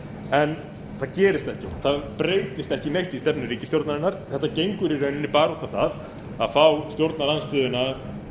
það gerist ekkert það breytist ekki neitt í stefnu ríkisstjórnarinnar þetta gengur í rauninni bara út á það að fá stjórnarandstöðuna